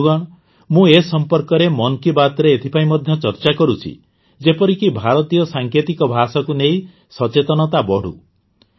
ବନ୍ଧୁଗଣ ମୁଁ ଏ ସମ୍ପର୍କରେ ମନ୍ କୀ ବାତ୍ରେ ଏଥିପାଇଁ ମଧ୍ୟ ଚର୍ଚା କରୁଛି ଯେପରକି ଭାରତୀୟ ସାଙ୍କେତିକ ଭାଷାକୁ ନେଇ ସଚେତନତା ବଢ଼ୁ